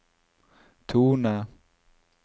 tone